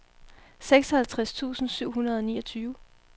seksoghalvtreds tusind syv hundrede og niogtyve